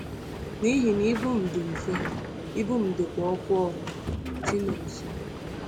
“N’ihi na ibu m dị mfe, ibu m dịkwa ọkụ ọkụ.” — Chinonso.